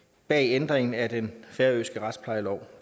bag ændringen af den færøske retsplejelov